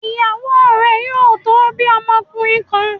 Ìyàwó rẹ yóò tó bí ọmọkùnrin kan